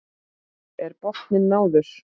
Er botninum náð?